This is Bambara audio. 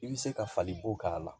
I bɛ se ka fali bo k'a la